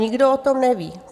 Nikdo o tom neví.